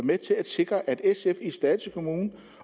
med til at sikre at sf i slagelse kommune